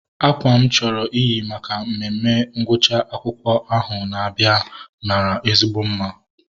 Akwa mụ chọrọ iyi maka mmemme ngwụcha akwụkwọ ahụ na-abịa mara ezigbo mma